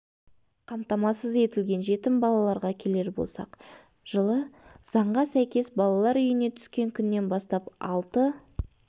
қамтамасыз етілген жетім балаларға келер болсақ жылы заңға сәйкес балалар үйіне түскен күннен бастап алты